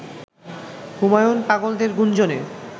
হুমায়ূন পাগলদের গুঞ্জনে